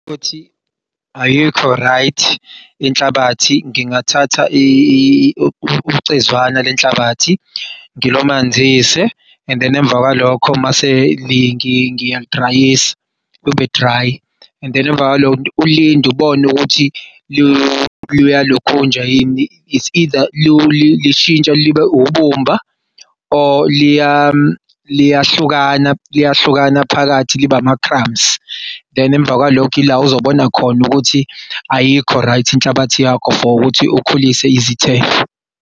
Futhi ayikho right inhlabathi ngingathatha ucezwana lenhlabathi, ngilamanise. And then emva kwalokho mase ilingi ngiyalidrayisa, lube dry. And then emvakalokhu ulinde ubone ukuthi luya lokhunja yini. It's either lishintsha libe ubumba, or liyahlukana liyahlukana phakathi, liba ama-crumbs than emva kwalokho, ila ozobona khona ukuthi ayikho right inhlabathi yakho for ukuthi ukhulise izithelo.